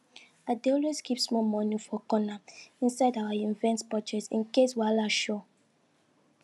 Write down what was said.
i dey always keep small money for corner inside our event budget in case wahala show